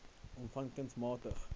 o v kunsmatige